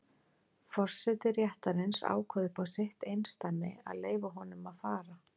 Forseti réttarins ákvað upp á sitt eindæmi að leyfa honum að fara.